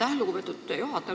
Aitäh, lugupeetud juhataja!